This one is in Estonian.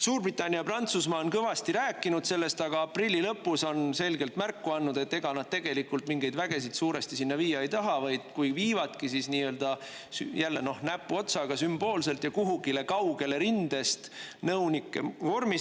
Suurbritannia ja Prantsusmaa on kõvasti rääkinud sellest, aga aprilli lõpus on selgelt märku andnud, et ega nad tegelikult mingeid vägesid suuresti sinna viia ei taha, vaid kui viivadki, siis nii-öelda näpuotsaga, sümboolselt, ja kuhugile kaugele rindest, nõunike vormis.